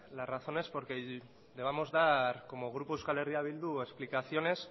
las razones por que debamos dar como grupo euskal herria bildu explicaciones